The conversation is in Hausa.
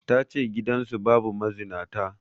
Ta ce gidansu babu mazinata